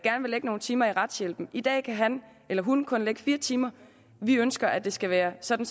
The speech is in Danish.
vil lægge nogle timer i retshjælpen i dag kan han eller hun kunne lægge fire timer vi ønsker at det skal være sådan